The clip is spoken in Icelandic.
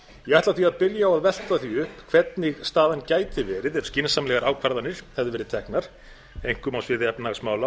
ætla því að byrja á að velta því upp hvernig staðan gæti verið ef skynsamlegar ákvarðanir hefðu verið teknar einkum á sviði efnahagsmála á